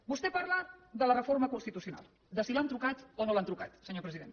vostè parla de la reforma constitucional de si li han trucat o no li han trucat senyor president